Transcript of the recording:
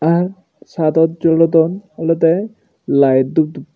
ar saedot jolodon olodey laet dup dup.